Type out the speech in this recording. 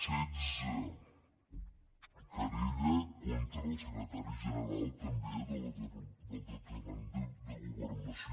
setze querella contra el secretari general també del departament de governació